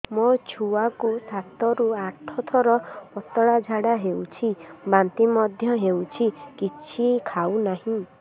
ମୋ ଛୁଆ କୁ ସାତ ରୁ ଆଠ ଥର ପତଳା ଝାଡା ହେଉଛି ବାନ୍ତି ମଧ୍ୟ୍ୟ ହେଉଛି କିଛି ଖାଉ ନାହିଁ